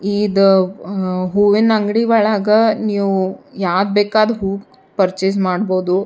ಇದ ಅಹ್ಹ ಹೂವಿನ ಅಂಗಡಿಯೊಳಗ ನೀವು ಯಾವ್ದ ಬೇಕಾದ್ ಹೂವು ಪರ್ಚೆಸ್ ಮಾಡ್ಬಹುದು.